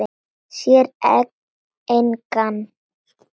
Sér engan.